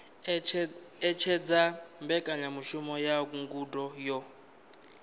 ṅetshedza mbekanyamushumo ya ngudo yo